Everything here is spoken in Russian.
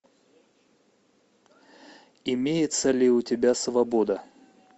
имеется ли у тебя свобода